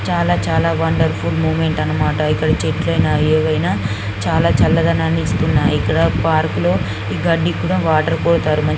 చాలా చాలా wonderful moment అన్నమాట ఇక్కడ చెట్లయినా ఏవైనా చాలా చల్లదనాన్ని ఇస్తున్నాయి. ఇక్కడ పార్క్ లో ఈ గడ్డి కూడా వాటర్ పోతారు --